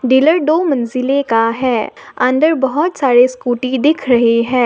Pillar दो मंजिले का है अंदर बहुत सारे स्कूटी दिख रहे हैं।